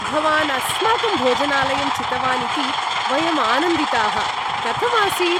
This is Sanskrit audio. भवान् अस्माकं भोजनालयं चितवान् इति वयं आनन्दिताः। कथम् आसीत्?